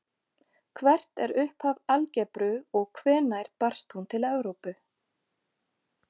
Hvert er upphaf algebru og hvenær barst hún til Evrópu?